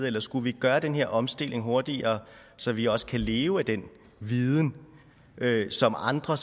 eller skulle vi gøre den her omstilling hurtigere så vi også kan leve af den viden som andre